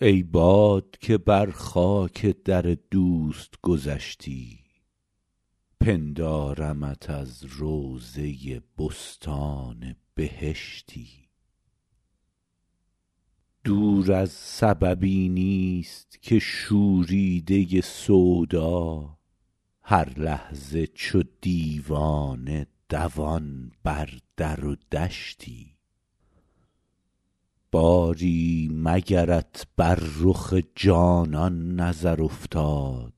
ای باد که بر خاک در دوست گذشتی پندارمت از روضه بستان بهشتی دور از سببی نیست که شوریده سودا هر لحظه چو دیوانه دوان بر در و دشتی باری مگرت بر رخ جانان نظر افتاد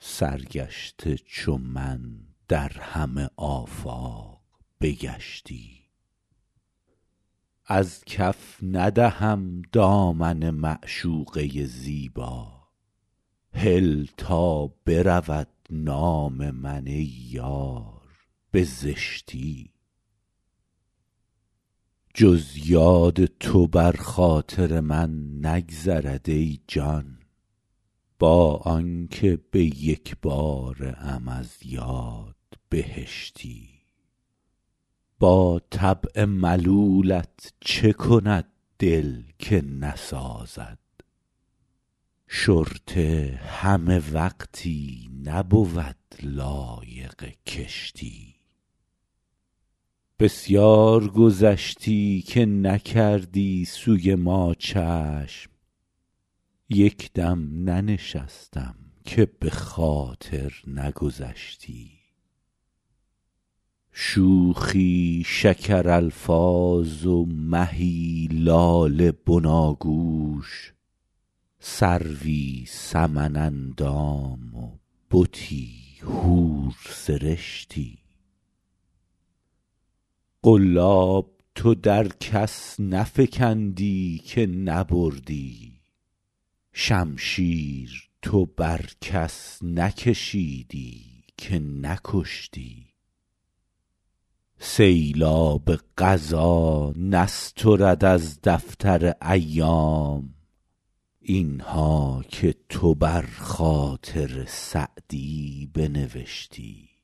سرگشته چو من در همه آفاق بگشتی از کف ندهم دامن معشوقه زیبا هل تا برود نام من ای یار به زشتی جز یاد تو بر خاطر من نگذرد ای جان با آن که به یک باره ام از یاد بهشتی با طبع ملولت چه کند دل که نسازد شرطه همه وقتی نبود لایق کشتی بسیار گذشتی که نکردی سوی ما چشم یک دم ننشستم که به خاطر نگذشتی شوخی شکرالفاظ و مهی لاله بناگوش سروی سمن اندام و بتی حورسرشتی قلاب تو در کس نفکندی که نبردی شمشیر تو بر کس نکشیدی که نکشتی سیلاب قضا نسترد از دفتر ایام این ها که تو بر خاطر سعدی بنوشتی